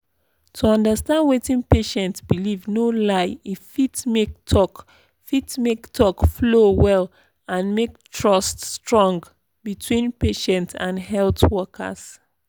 to understand wetin patient believe no lie e fit make talk fit make talk flow well and make trust strong between patient and health workers.